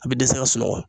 A bɛ dɛsɛ ka sunɔgɔ